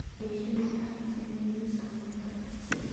ii sheeg waxa la sameeyo liiska maanta